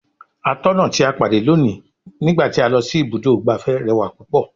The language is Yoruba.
Atọ́nà tí a pàdé lónìí ní gba ti a lọ si ibùdó igbàfẹ́ rẹwà púpọ̀.